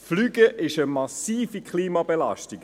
Fliegen ist eine massive Klimabelastung.